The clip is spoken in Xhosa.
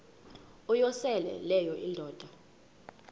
uyosele leyo indoda